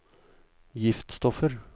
giftstoffer